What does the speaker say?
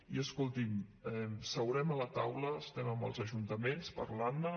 i escolti’m seurem a la taula estem amb els ajuntaments parlant ne